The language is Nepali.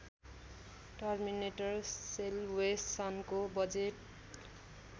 टर्मिनेटर सेल्वेसनको बजेट